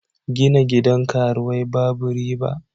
Gina gidan karuwai babu riba.